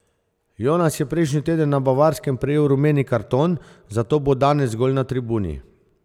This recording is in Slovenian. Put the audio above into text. Jonas je prejšnji teden na Bavarskem prejel rumeni karton, zato bo danes zgolj na tribuni.